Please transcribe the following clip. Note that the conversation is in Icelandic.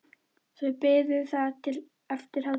Þau biðu þar til eftir hádegi.